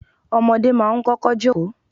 Ọmọdé máa ń kọ́kọ́ jókòó.